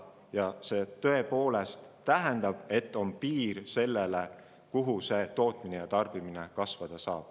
Ja see tõepoolest tähendab seda, et on piir sellele, kuhu maani tootmine ja tarbimine kasvada saab.